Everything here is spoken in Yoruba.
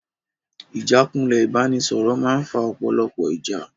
Ìjákulẹ̀ ìbánisọ̀rọ̀ máa ń fa ọ̀pọ̀lọpọ̀ ìjà.